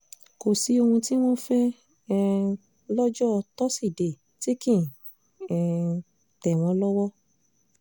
kò sí ohun tí wọ́n fẹ́ um lọ́jọ́ tosidee tí kì um í tẹ̀ wọ́n lọ́wọ́